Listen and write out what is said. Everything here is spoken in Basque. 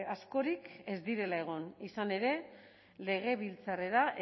askorik ez direla egon izan ere legebiltzarrera